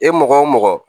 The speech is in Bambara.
E mɔgɔ o mɔgɔ